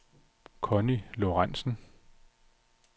Conny Lorenzen